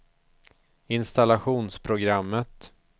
installationsprogrammet